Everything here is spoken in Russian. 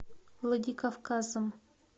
владикавказом